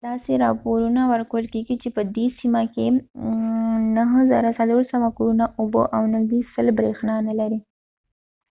داسې راپورونه ورکول کیږي چې په دې سیمه کې 9400 کورونه اوبه او نږدې 100 بریښنا نلري